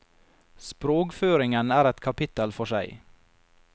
Sprogføringen er et kapittel for seg.